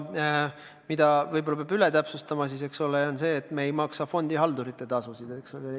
Mida võib-olla peab üle täpsustada, on see, et me ei maksa fondihaldurite tasusid.